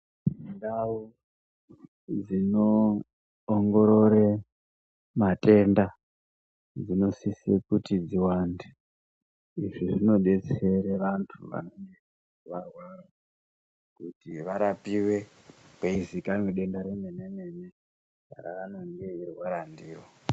Ndao dzinoongorore matenda dzinosise kuti dziwande izvi zvinobetsere vantu vanenge varwara kuti varapiwe kweiziviwa denda remene mene raanenge eirwara ndiro.